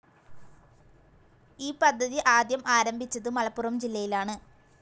ഈ പദ്ധതി ആദ്യം ആരംഭിച്ചത് മലപ്പുറം ജില്ലയിലാണ്.